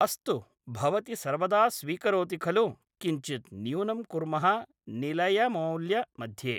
अस्तु भवति सर्वदा स्वीकरोति खलु किञ्चित् न्य़ूनं कुर्मः निलयमौल्य मध्ये